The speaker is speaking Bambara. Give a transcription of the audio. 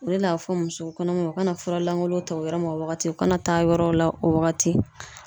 O de la a be fɔ muso kɔnɔmaw ma o kana furalangolon ta o yɔrɔ ma o wagati o kana taa yɔrɔw la o wagati